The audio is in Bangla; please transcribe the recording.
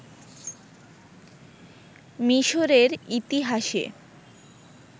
মিশরের ইতিহাসে